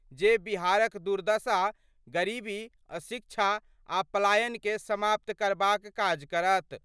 जे बिहारक दुर्दशा, गरीबी, अशिक्षा आ पलायन कए समाप्त करबाक काज करत।